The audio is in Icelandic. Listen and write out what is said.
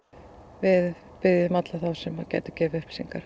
við biðjum alla þá sem gætu gefið upplýsingar